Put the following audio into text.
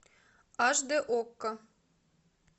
аш д окко